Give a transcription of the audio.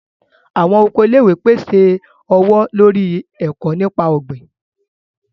Awọn oko ilé-ìwé pèsè ọwọ-lori eko nípa ogbin.